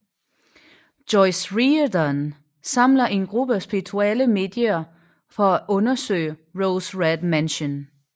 Joyce Reardon samler en gruppe spirituelle medier for at undersøge Rose Red Mansion